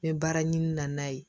N bɛ baara ɲini na n'a ye